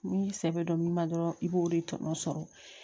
Ni sɛbɛ don ni ma dɔrɔn i b'o de tɔnɔ sɔrɔ